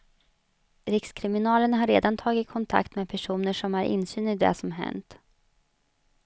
Rikskriminalen har redan tagit kontakt med personer som har insyn i det som hänt.